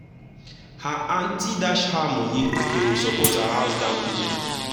her aunty dash her better money to support house down payment.